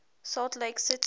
salt lake city